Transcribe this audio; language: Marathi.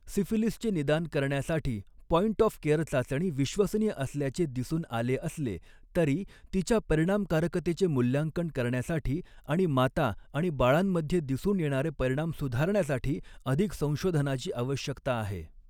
सिफिलिसचे निदान करण्यासाठी पॉइंट ऑफ केअर चाचणी विश्वसनीय असल्याचे दिसून आले असले, तरी तिच्या परिणामकारकतेचे मूल्यांकन करण्यासाठी आणि माता आणि बाळांमध्ये दिसून येणारे परिणाम सुधारण्यासाठी अधिक संशोधनाची आवश्यकता आहे.